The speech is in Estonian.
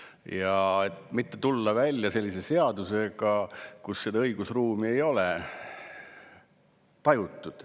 tulla välja sellise seadusega, mille puhul seda õigusruumi ei ole tajutud.